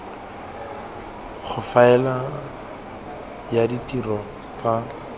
go faela ya ditiro tsa